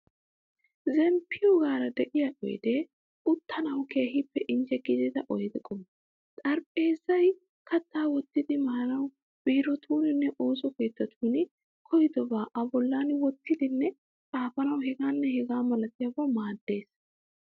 Zemmppiyogaara de'iya oydee uttanawu keehippe injje gidida oyde qommo. Xaraphpheezay kattaa wottidi maanawu, biirotuuninne ooso keettatun koyidobaa a bolli wottidinne xaafanawu,... h.h.m maaddees.